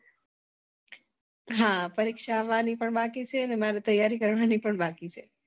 હા પરીક્ષા આવવાની પણ બાકી છે અને મારે તૈયારી કરવાની પણ બાકી છે